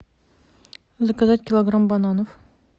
заказать килограмм бананов